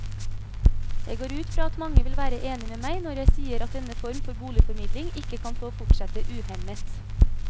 Jeg går ut fra at mange vil være enig med meg når jeg sier at denne form for boligformidling ikke kan få fortsette uhemmet.